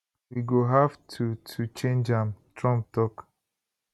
we go have to to change am trump tok